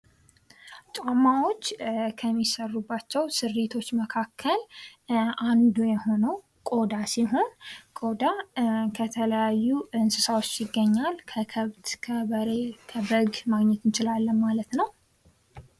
ጫማዎች ከሚሰሩባቸው ስሪቶች መካከል አንዱ የሆነው ቆዳ ሲሆን ቆዳ ከተለያዩ እንስሳዎች ይገኛል ። ከከብት፣ ከበሬ፣ ከበግ ማግኘት እንችላለን ማለት ነው ።